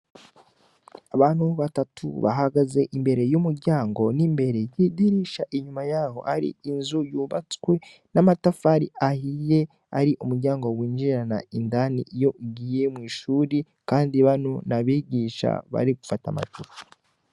Abantu batatu bahagaze imbere y'umuryango nimbere yama amadirisha inyuma yaho hari inzu yubatswe n'amatafari ahiye ari kumuryango winjirana indani iyo ugiye mw'ishure kandi bano nabigisha barigufata ama photo